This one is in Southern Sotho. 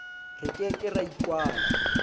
re ke ke ra ikwala